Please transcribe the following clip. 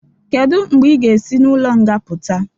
Kedụ mgbe ị ga-esị n'ụlo nga pụta?